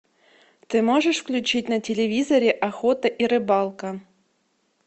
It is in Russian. ты можешь включить на телевизоре охота и рыбалка